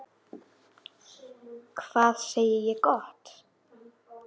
Hvað segi ég gott?